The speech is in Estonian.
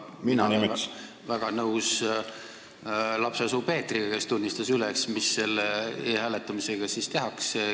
Küll aga olen ma väga nõus lapsesuu Peetriga, kes tunnistas üles, mis selle e-hääletamisega siis tehakse.